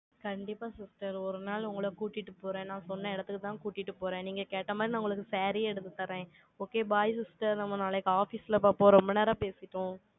கண்டிப்பா sister, ஒரு நாள் உங்களை கூட்டிட்டு போறேன். நான் சொன்ன இடத்துக்குதான் கூட்டிட்டு போறேன். நீங்க கேட்ட மாதிரி, நான் உங்களுக்கு saree யே எடுத்து தர்றேன். okay bye sister நம்ம நாளைக்கு office ல பார்ப்போம், ரொம்ப நேரம் பேசிட்டோம்.